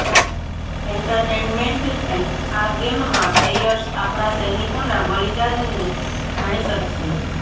એન્ટરટેનમેન્ટથી આ ગેમમાં પ્લેયર્સ આપણા સૈનિકોના બલિદાનને જાણી શકશે